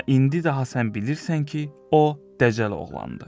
Amma indi daha sən bilirsən ki, o dəcəl oğlandı.